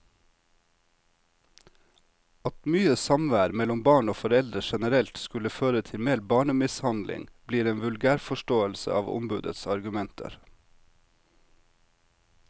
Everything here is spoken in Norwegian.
At mye samvær mellom barn og foreldre generelt skulle føre til mer barnemishandling, blir en vulgærforståelse av ombudets argumenter.